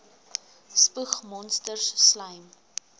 spoeg monsters slym